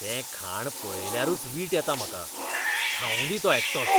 तें खाण पळयल्यारूच वीट येता म्हाका, खावूंदी तो एकटोच.